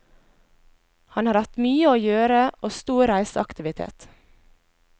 Han har hatt mye å gjøre og stor reiseaktivitet.